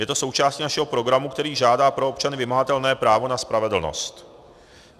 Je to součástí našeho programu, který žádá pro občany vymahatelné právo na spravedlnost.